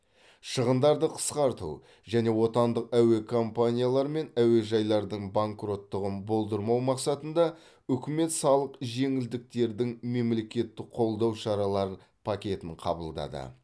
шығындарды қысқарту және отандық әуе компаниялар мен әуежайлардың банкроттығын болдырмау мақсатында үкімет салық жеңілдіктердің мемлекеттік қолдау шаралар пакетін қабылдады